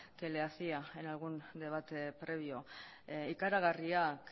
que le hacía en algún debate previo ikaragarriak